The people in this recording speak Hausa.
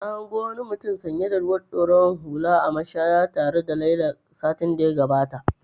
Na gano wani mutum sanye da ruwan ɗorawar hula a mashaya tare da Laila satin da ya gabata.